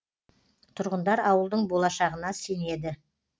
тұрғындар ауылдың болашағына сенеді